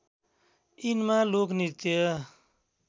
यिनमा लोक नृत्य